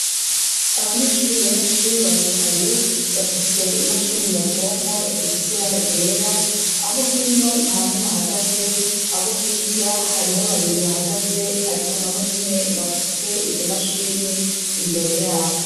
Abanyeshure benshi baricaye; bafise imashini nyabwonko zifise ibara ryera. Abo hino nta n'umwe ahagaze. Abo hirya hariho babiri bahagaze, ariko nabo nyene bafise izo mashini imbere y;abo.